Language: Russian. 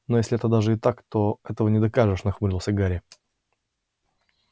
но если это даже и так то этого не докажешь нахмурился гарри